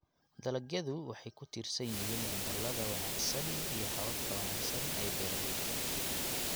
Dalagyadu waxay ku tiirsan yihiin cimilada wanaagsan iyo hababka wanaagsan ee beeraleyda.